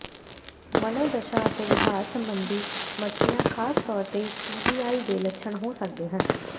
ਮਨੋਦਸ਼ਾ ਅਤੇ ਵਿਹਾਰ ਸੰਬੰਧੀ ਮਸਲਿਆਂ ਖਾਸ ਤੌਰ ਤੇ ਟੀਬੀਆਈ ਦੇ ਲੱਛਣ ਹੋ ਸਕਦੇ ਹਨ